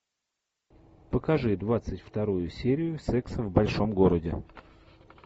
покажи двадцать вторую серию секса в большом городе